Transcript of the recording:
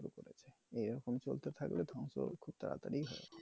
এই রকম চলতে থাকলে কিন্তু খুব তারাতারি